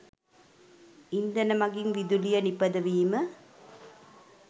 ඉන්ධන මගින් විදුලිය නිපදවීම